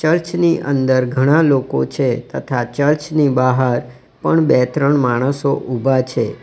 ચર્ચની અંદર ઘણા લોકો છે તથા ચર્ચની બહાર પણ બે ત્રણ માણસો ઊભા છે.